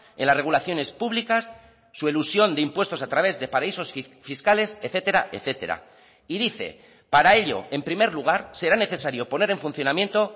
en las regulaciones públicas su elusión de impuestos a través de paraísos fiscales etcétera etcétera y dice para ello en primer lugar será necesario poner en funcionamiento